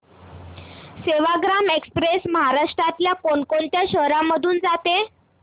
Sevagram express महाराष्ट्रातल्या कोण कोणत्या शहरांमधून जाते